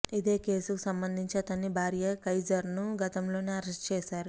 ఇదే కేసుకు సంబంధించి అతని భార్య ఖైజర్ను గతంలోనే అరెస్టు చేశారు